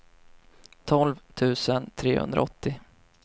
tolv tusen trehundraåttio